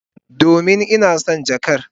Domin ina son jakar.